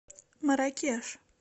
марракеш